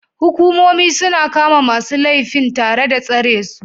Hukumomi suna kama masu laifin tare da tsare su